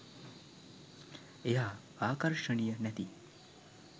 එයා ආකර්ෂණීය නැති